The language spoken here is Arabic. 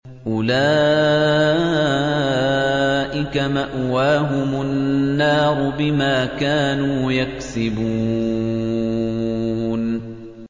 أُولَٰئِكَ مَأْوَاهُمُ النَّارُ بِمَا كَانُوا يَكْسِبُونَ